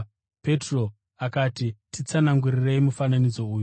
Petro akati, “Titsanangurirei mufananidzo uyu.”